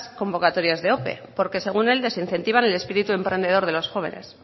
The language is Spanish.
convocatorias de ope porque según él desincentiva el espíritu emprendedor de los jóvenes